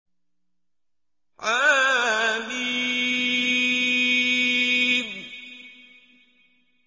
حم